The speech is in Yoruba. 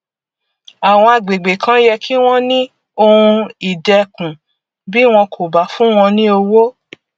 àwọn agbègbè kan yẹ kí wọn ní ohun ìdẹkùn bí wọn kò bá fún wọn ní owó